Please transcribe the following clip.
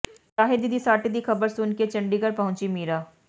ਸ਼ਾਹਿਦ ਦੀ ਸੱਟ ਦੀ ਖਬਰ ਸੁਣਕੇ ਚੰਡੀਗੜ ਪਹੁੰਚੀ ਮੀਰਾ